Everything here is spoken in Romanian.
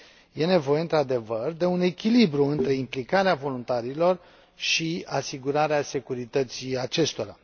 Este nevoie, într adevăr, de un echilibru între implicarea voluntarilor și asigurarea securității acestora.